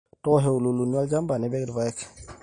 tolsho iululuni olchamba nipik irpaek